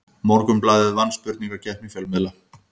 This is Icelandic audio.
Morgunblaðið vann spurningakeppni fjölmiðla